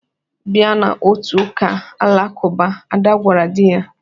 "Bata n'otu ụka Alakụba! " Ada gwara di ya.